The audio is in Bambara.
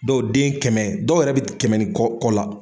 Dɔɔw den kɛmɛ dɔw yɛrɛ bi kɛmɛ ni kɔ la.